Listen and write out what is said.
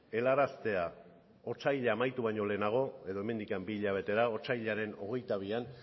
honetara helaraztea otsaila amaitu baino lehenago edo hemendik bi hilabetera otsailaren hogeita